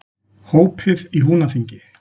Hópið í Húnaþingi.